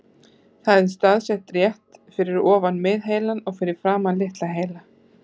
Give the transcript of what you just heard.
Það er staðsett rétt fyrir ofan miðheilann og fyrir framan litla heilann.